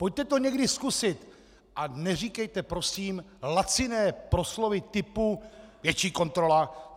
Pojďte to někdy zkusit a neříkejte prosím laciné proslovy typu: Větší kontrola!